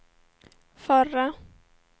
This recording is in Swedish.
förra